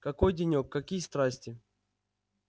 какой денёк какие страсти